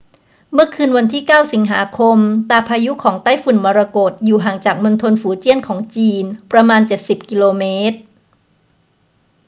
เมื่อคืนวันที่ 9 สิงหาคม ตาพายุของไต้ฝุ่นมรกตอยู่ห่างจากมณฑลฝูเจี้ยนของจีนประมาณเจ็ดสิบกิโลเมตร